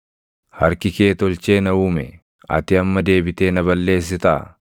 “Harki kee tolchee na uume. Ati amma deebitee na balleessitaa?